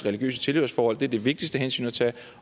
religiøse tilhørsforhold det er det vigtigste hensyn at tage